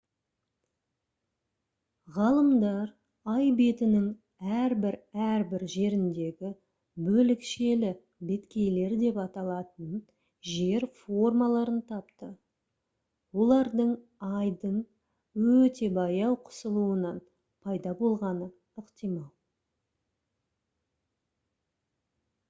ғалымдар ай бетінің әрбір-әрбір жеріндегі «бөлікшелі беткейлер» деп аталатын жер формаларын тапты. олар айдың өте баяу қысылуынан пайда болғаны ықтимал